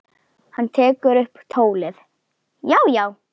Hann tekur upp tólið: Já, já.